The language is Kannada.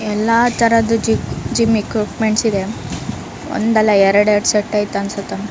ಎಲ್ಲ ತರದು ಜಿಮ್ಮ್ ಈಕ್ವಿಪ್ಮೆಂಟ್ಸ್ ಇದೆ ಒಂದಲ್ಲ ಎರೆಡೆರಡು ಸೆಟ್ ಐತನ್ಸುತ್ತೆ.